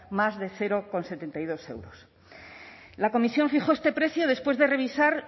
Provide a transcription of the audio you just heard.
más de cero coma setenta y dos euros la comisión fijó este precio después de revisar